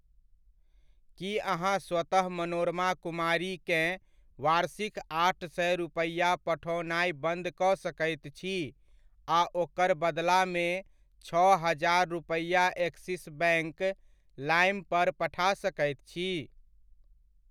की अहाँ स्वतः मनोरमा कुमारीकेँ वार्षिक आठ सए रुपैआ पठओनाइ बन्द कऽ सकैत छी आ ओकर बदलामे छओ हजार रुपैया एक्सिस बैङ्क लाइम पर पठा सकैत छी ?